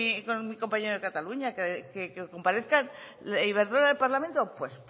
con mi compañero de cataluña que comparezca iberdrola en el parlamento pues